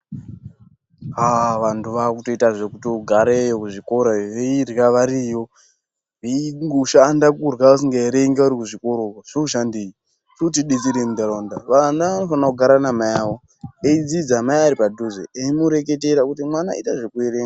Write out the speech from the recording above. Aaah, vanthu vaakutoita zvekutogareyo kuzvikorayo veirya variyo, veingoshanda kurya vasingaerengi vari kuzvikora uko, zvinoshandei, zvinotidetserei muntharaunda, vana vanofana kugara namayavo, veidzidza mai ari padhuze, eimureketera kuti mwana, ita zvekuerenga.